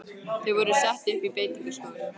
Þau voru sett upp í beitingaskúr.